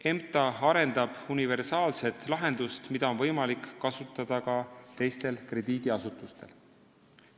EMTA arendab universaalset lahendust, mida on võimalik ka teistel krediidiasutustel kasutada.